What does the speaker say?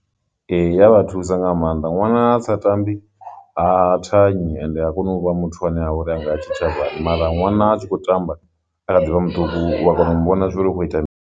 Ee, ya vha thusa nga maanḓa ṅwana a sa tambi ha thanyi ende ha koni u vha muthu ane a vhori anga ya tshitshavhani mara ṅwana a tshi khou tamba a kha ḓivha muṱuku u wa kona u mu vhona zwori u kho ita mini.